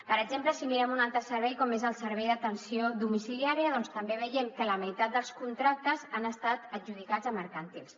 per exemple si mirem un altre servei com és el servei d’atenció domiciliària doncs també veiem que la meitat dels contractes han estat adjudicats a mercantils